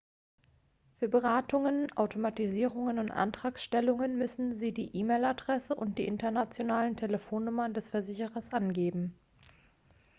für beratungen/autorisierungen und antragstellungen müssen sie die e-mail-adresse und die internationalen telefonnummern des versicherers angeben